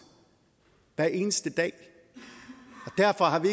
hver eneste dag derfor har vi